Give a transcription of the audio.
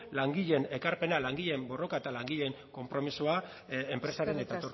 langileen ekarpena langileen borroka eta langileen konpromisoa enpresaren eta